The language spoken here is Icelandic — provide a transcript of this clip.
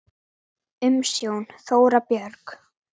Af því verður ekki.